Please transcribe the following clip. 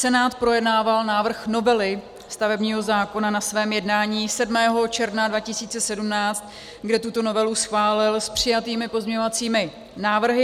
Senát projednával návrh novely stavebního zákona na svém jednání 7. června 2017, kde tuto novelu schválil s přijatými pozměňovacími návrhy.